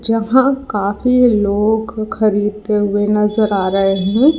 यहां काफी लोग खरीदते हुए नजर आ रहे हैं।